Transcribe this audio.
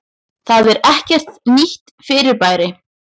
Það er ekkert nýtt fyrirbæri.